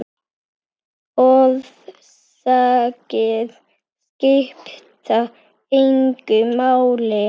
Orsakir skipta engu máli.